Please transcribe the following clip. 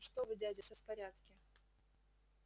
ну что вы дядя всё в порядке